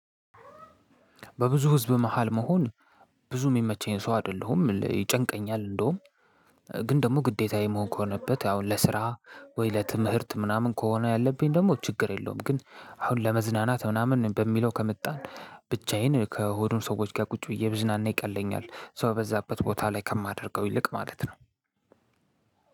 በብዙ ህዝብ መሃል መሆን ብዙ የሚመቸኝ ሰው አይደለሁም ይጨንቀኛል። እንደውም ግን ደግሞ ግዴታዬ መሆን ከሆነበት አሁን ለስራ ወይ ለትምህርት ምናምን ከሆነ ያለብኝ ደግሞ ችግር የለውም ግን አሁን ለመዝናናት ምናምን በሚለው ከመጣን ብቻዬን ከሆኑ ሰዎች ጋር ቁጭ ብዬ ብዝናና ይቀለኝኛል። ሰው እበዛበት ቦታ ላይ ከማደርገው ይልቅ ማለት ነው።